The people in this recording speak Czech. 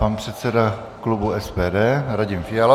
Pan předseda klubu SPD Radim Fiala.